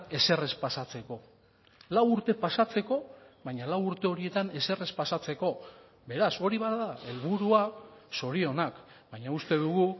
ezer ez pasatzeko lau urte pasatzeko baina lau urte horietan ezer ez pasatzeko beraz hori bada helburua zorionak baina uste dugu